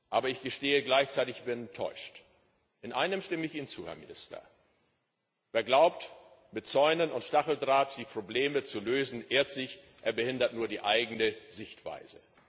Aber ich gestehe gleichzeitig Ich bin enttäuscht. In einem stimme ich Ihnen zu, Herr Minister Wer glaubt, mit Zäunen und Stacheldraht die Probleme zu lösen, irrt sich, er behindert nur die eigene Sichtweise.